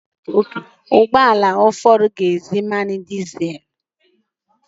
Ụgbọ ala ụfọdụ na-eji mmanụ dizel.